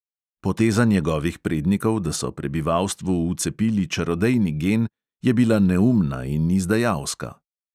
Poteza njegovih prednikov, da so prebivalstvu vcepili čarodejni gen, je bila neumna in izdajalska.